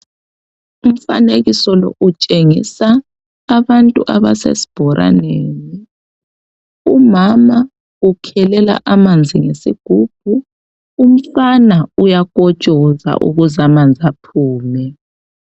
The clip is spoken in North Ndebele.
Umfanekiso lo utshengisa abantu abasesibhoraneni .Umama ukhelela amanzi ngesigubhu ,umfana uyakotshoza ukuze amanzi aphume .